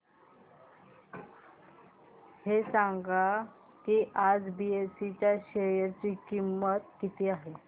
हे सांगा की आज बीएसई च्या शेअर ची किंमत किती आहे